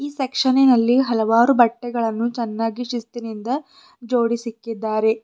ಸೆಕ್ಷನಿನಲ್ಲಿ ಹಲವಾರು ಬಟ್ಟೆಗಳನ್ನು ಚೆನ್ನಾಗಿ ಶಿಸ್ತಿನಿಂದ ಜೋಡಿಸಿಕ್ಕಿದ್ದಾರೆ.